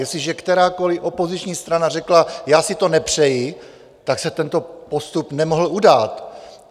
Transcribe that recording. Jestliže kterákoli opoziční strana řekla: Já si to nepřeji, tak se tento postup nemohl udát.